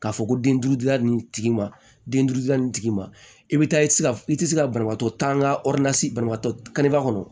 K'a fɔ ko den duuru da ni tigi ma den duuru da nin tigi ma i bɛ taa i tɛ se ka i tɛ se ka banabaatɔ taaga kɔnɔ